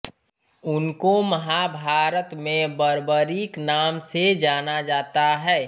उनको महाभारत में बर्बरीक नाम से जाना जाता है